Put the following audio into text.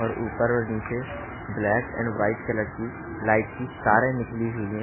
और ऊपर और नीचे ब्लैक एंड व्हाइट कलर की लाइट की तारे निकली हुई है।